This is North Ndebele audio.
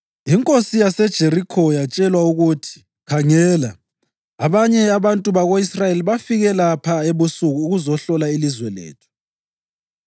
Inkosi yaseJerikho yatshelwa ukuthi “Khangela! Abanye abantu bako-Israyeli bafike lapha ebusuku ukuzohlola ilizwe lethu.”